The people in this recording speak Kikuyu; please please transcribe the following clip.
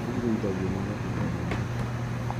Irio igũithagio nĩ ruhuho rũru